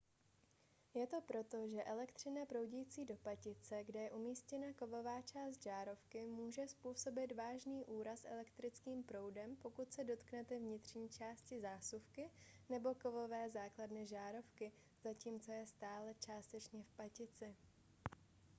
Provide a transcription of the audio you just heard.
je to proto že elektřina proudící do patice kde je umístěna kovová část žárovky může způsobit vážný úraz elektrickým proudem pokud se dotknete vnitřní části zásuvky nebo kovové základny žárovky zatímco je stále částečně v patici